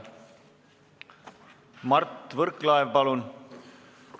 Mart Võrklaev, palun!